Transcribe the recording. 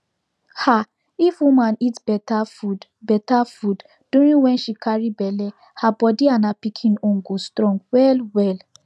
um if woman eat better food better food during wen she carry belle her body and her pikin own go strong well well